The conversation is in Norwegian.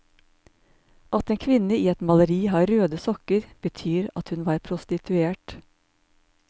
At en kvinne i et maleri har røde sokker, betyr at hun var prostituert.